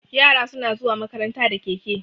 Yara suna zuwa makaranta da keke.